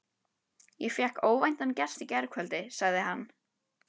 Ég fékk óvæntan gest í gærkvöldi, sagði hann.